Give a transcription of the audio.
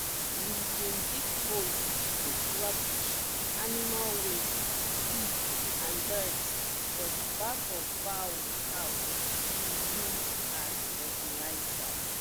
we bin dig hole put rubbish animal waste leaf and dirt for di back of fowl house to use as fertilizer